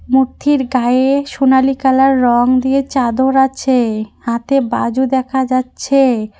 মুরথির গায়ে সোনালী কালার রং দিয়ে চাদর আছে হাতে বাজু দেখা যাচ্ছে।